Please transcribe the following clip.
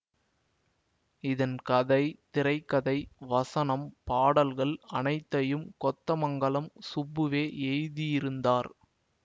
இதன் கதை திரை கதை வசனம் பாடல்கள் அனைத்தையும் கொத்தமங்கலம் சுப்புவே எழுதியிருந்தார்